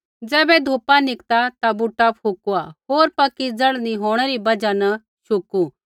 होर ज़ैबै धूपा निकता ता बूटा फुकुआ होर पक्की जड़ नी होंणै री बजहा न शुकू